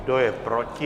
Kdo je proti?